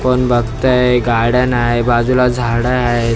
कोण बघतंय गाड्या नाय बाजूला झाडं आहे.